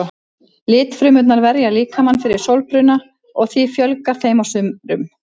Litfrumurnar verja líkamann fyrir sólbruna og því fjölgar þeim á sumrum.